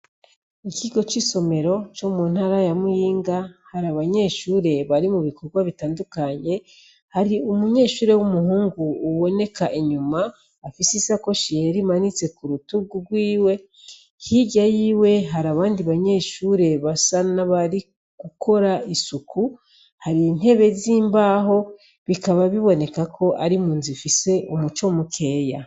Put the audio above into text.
Ikigo c'isomero comu ntara ya muyinga hari abanyeshure bari mu bikorwa bitandukanye, hari umunyeshure w'umuhungu uboneka inyuma afise isakoshi yera imanitse kurutugu rwiwe hirya yiwe hari abandi banyeshure basa n'abari gukora isuku, hari intebe z'imbaho bikaba biboneka ko ari munzu ifise umuco mukeya.